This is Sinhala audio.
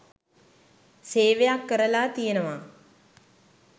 සේවයක් කරලා තියෙනවා.